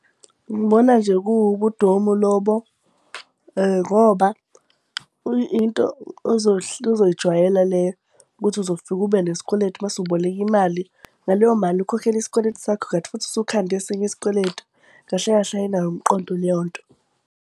Ngibona nje kuwubudomu lobo ngoba into ozoyijwayela leyo ukuthi uzofika ube nesikweletu mase uboleka imali. Ngaleyo mali ukhokhele isikweletu sakho, kanti futhi usukhande esinye isikweletu. Kahle kahle ayinawo umqondo leyo nto.